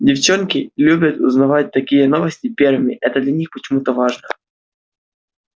девчонки любят узнавать такие новости первыми это для них почему-то важно